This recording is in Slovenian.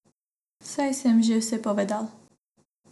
Saj sem že vse povedal.